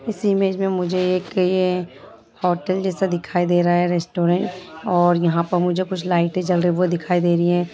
इस इमेज में मुझे एक ये होटल जैसा दिखाई दे रहा है रेस्टोरेंट और यहाँ पर मुझे कुछ लाइटें जल रहे है वो दिखाई दे रही है।